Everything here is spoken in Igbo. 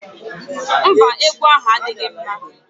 Mba, egwu ahụ adịghị mma